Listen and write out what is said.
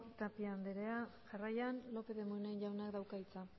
tapia anderea jarraian lópez de munain jaunak dauka hitza